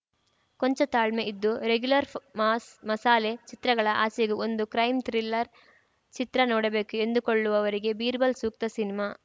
ಕೊಂಚ ತಾಳ್ಮೆ ಇದ್ದು ರೆಗ್ಯೂಲರ್‌ ಮಾಸ್‌ ಮಸಾಲೆ ಚಿತ್ರಗಳ ಆಚೆಗೂ ಒಂದು ಕ್ರೈಮ್‌ ಥ್ರಿಲ್ಲರ್‌ ಚಿತ್ರ ನೋಡಬೇಕು ಎಂದುಕೊಳ್ಳುವವರಿಗೆ ಬೀರ್‌ಬಲ್‌ ಸೂಕ್ತ ಸಿನಿಮಾ